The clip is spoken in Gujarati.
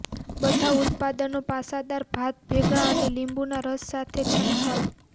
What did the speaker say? બધા ઉત્પાદનો પાસાદાર ભાત ભેગા અને લીંબુના રસ સાથે છંટકાવ